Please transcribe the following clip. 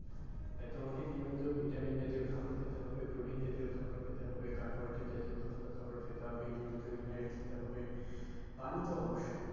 তাই তোমাকে নিয়মিত vitamin জাতীয় খাবার খেতে হবে, protein জাতীয় খাবার খেতে হবে, carbohydrate জাতীয় খাবার খেতে হবে, নিয়মিত mineral খেতে হবে পানি তো অব্যশই।